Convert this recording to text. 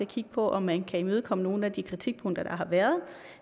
kigge på om man kan imødekomme nogle af de kritikpunkter der har været